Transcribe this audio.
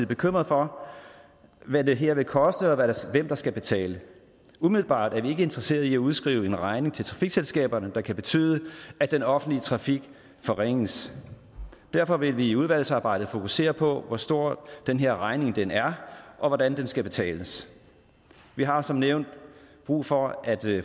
bekymrede for hvad det her vil koste og hvem der skal betale umiddelbart er vi ikke interesseret i at udskrive en regning til trafikselskaberne der kan betyde at den offentlige trafik forringes derfor vil vi i udvalgsarbejdet fokusere på hvor stor den her regning er og hvordan den skal betales vi har som nævnt brug for at